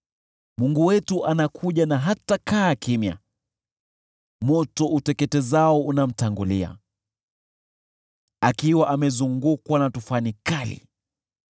Mungu wetu anakuja na hatakaa kimya, moto uteketezao unamtangulia, akiwa amezungukwa na tufani kali.